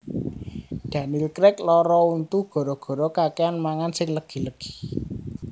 Daniel Craig lara untu gara gara kakean mangan sing legi legi